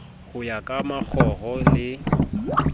ho ya ka makgoro le